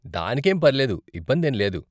దానికేం పర్లేదు, ఇబ్బందేం లేదు.